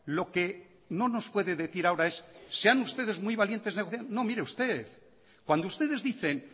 lo que no nos puede decir ahora es sean ustedes muy valientes de hacer no mire usted cuando ustedes dicen